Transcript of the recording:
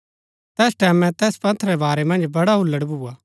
तैस टैमैं तैस पंथ रै बारै मन्ज बड़ा हुल्लड़ भुआ